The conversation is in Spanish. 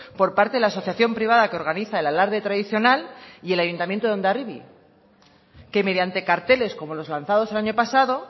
por parte de la asociación privada que organiza el alarde tradicional y el ayuntamiento de hondarribia que mediante carteles como los lanzados el año pasado